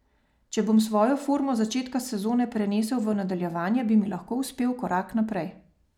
Če bom svojo formo z začetka sezone prenesel v nadaljevanje, bi mi lahko uspel korak naprej.